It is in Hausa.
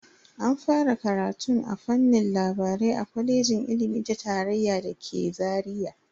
An fara karatun a fannin labarai a kwalejin ilimi ta tarayya da ke Zaria.